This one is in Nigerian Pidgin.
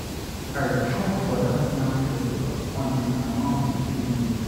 I chop for dat yam festival until my mouth dey pain me.